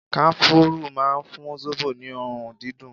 Kanafuru máa ń fún zobo ní òórùn dídùn.